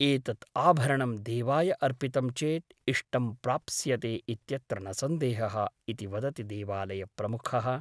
एतत् आभरणं देवाय अर्पितं चेत् इष्टं प्राप्स्यते इत्यत्र न सन्देहः ' इति वदति देवालयप्रमुखः ।